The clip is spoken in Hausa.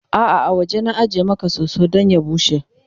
a'a a waje na ajiye Maka soso Dan ya bushe